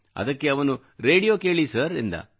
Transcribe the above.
ಅದಕ್ಕೆ ಅವನು ರೇಡಿಯೋ ಕೇಳಿ ಸರ್ ಎಂದ